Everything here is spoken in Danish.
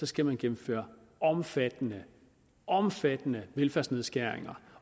skal man gennemføre omfattende omfattende velfærdsnedskæringer